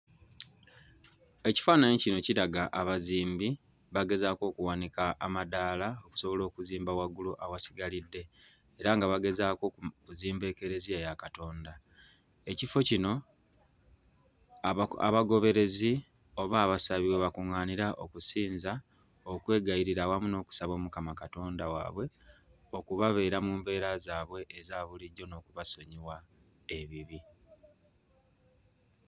Ekifaananyi kino kiraga abazimbi bagezaako okuwanika amadaala okusobola okuzimba waggulu awasigalidde era nga bagezaako mhm okuzimba Ekereziya ya Katonda. Ekifo kino abagoberezi oba abasabi we bakuŋŋaanira okusinza, okwegayirira awamu n'okusaba Omukama Katonda waabwe okubabeera mu mbeera zaabwe eza bulijjo n'okubasonyiwa ebibi.